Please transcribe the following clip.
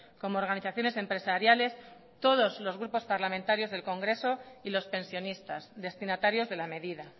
como organizaciones empresariales todos los grupos parlamentarios del congreso y los pensionistas destinatarios de la medida